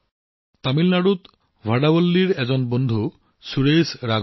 ভাদাৱল্লীৰ তামিলনাডুত সুৰেশ ৰাঘৱন জী নামৰ এজন সহকৰ্মী আছে